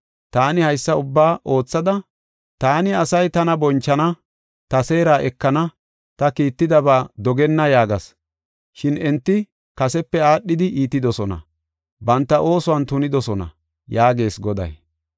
Taani haysa ubbaa oothada, ‘Ta asay tana bonchana; ta seera ekana; ta kiittidaba dogenna’ yaagas. Shin enti kasepe aadhidi iitidosona; banta oosuwan tunidosona” yaagees Goday.